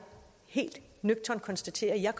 helt nøgternt konstaterer at jeg